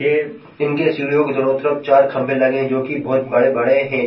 ये इनके सीढ़ियों के दोनों तरफ चार खंभे लगे है जो की बहुत बड़े-बड़े है।